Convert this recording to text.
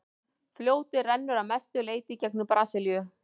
fljótið rennur að mestu leyti í gegnum brasilíu